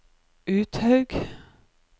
Uthaug